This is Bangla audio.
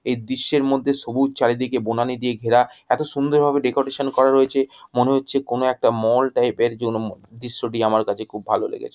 এই দৃশ্যের মধ্যে সবুজ চারিদিকে বনানী দিয়ে ঘেরা এতো সুন্দর ভাবে ডেকোরেশন করা রয়েছে মনে হচ্ছে একটা মল টাইপ -এর যোন দৃশ্যটি আমার কাছে খুব ভালো লেগেছে।